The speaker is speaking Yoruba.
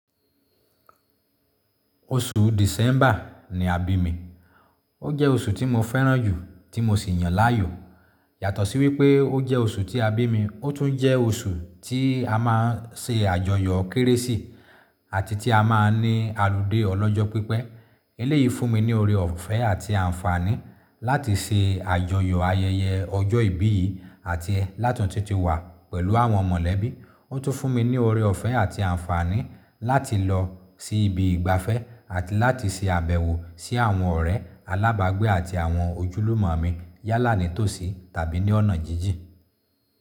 Oṣù December ni àbí mi. O jẹ́ oṣù tí mo fẹ́ràn jù tí mo sì yàn láàyò. Yàtọ̀ sí wípé ó jẹ́ oṣù tí a bí mi, ó tún jẹ́ oṣù tí a máa ń ṣe àjọyọ̀ Kérésì ati tí a máa ń ní aludé ọlọ́jọ́ pípẹ́. Eleyìí fún mi ní ọ̀rẹ́ ọ̀fẹ́ àti àǹfààní láti ṣe àjọyọ̀ ayẹyẹ ọjọ́ ìbí yìí àti látun tun ti wà pẹ̀lú àwọn mọ̀lẹ́bí. Ó tún fún mi ní ọ̀rẹ́ ọ̀fẹ́ àti àǹfààní láti lọ sí ibi ìgbafẹ́ àti láti ṣe àbẹ̀wọ̀ sí àwọn ọ̀rẹ́ alábàgbé àti àwọn ojúlùmọ̀ mi yálà nítòsí tàbí ní ọ̀nà jíjìn.